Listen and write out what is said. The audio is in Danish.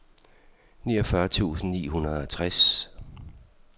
niogfyrre tusind ni hundrede og tres